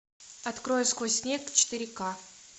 открой сквозь снег четыре ка